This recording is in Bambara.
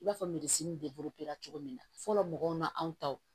I b'a fɔ de cogo min na fɔlɔ mɔgɔw n'an taw